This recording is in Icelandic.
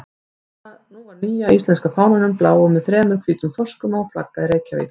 Nú var nýja íslenska fánanum, bláum með þremur hvítum þorskum á, flaggað í Reykjavík.